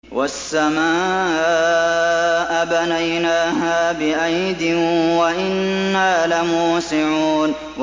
وَالسَّمَاءَ بَنَيْنَاهَا بِأَيْدٍ وَإِنَّا لَمُوسِعُونَ